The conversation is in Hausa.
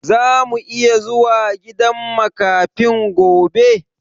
Zamu iya zuwa gidan makafin gobe?